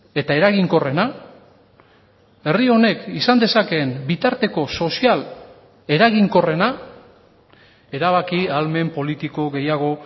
eta eraginkorrena herri honek izan dezakeen bitarteko sozial eraginkorrena erabaki ahalmen politiko gehiago